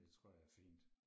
Det tror jeg er fint